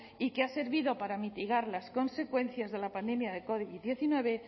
y que ha servido para mitigar las consecuencias de la pandemia de covid diecinueve